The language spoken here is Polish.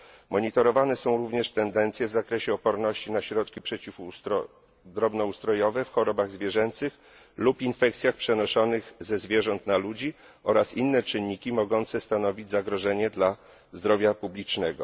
Monitorowane są również tendencje w zakresie odporności na środki przeciw drobnoustrojowe w chorobach zwierzęcych lub infekcjach przenoszonych ze zwierząt na ludzi oraz inne czynniki mogące stanowić zagrożenie dla zdrowia publicznego.